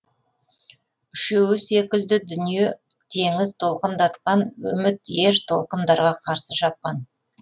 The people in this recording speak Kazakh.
үшеуі секілді дүние теңіз толқындатқан үміт ер толқындарға қарсы шапқан